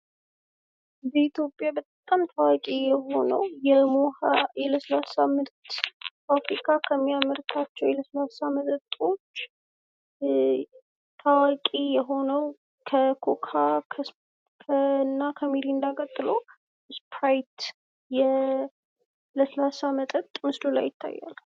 በኢትዮጵያ በጣም ታዋቂ የሆነው የሞሀ የለስላሳ መጠጥ ፋብሪካ ከሚያመርታቸው የ ለስላሳ መጠጦች ታዋቂ የሆነው ከኮካ እና ከሚሪንዳ ቀጥሎ ስፕራይት የለስላሳ መጠጥ ምስሉ ላይ ይታያል ።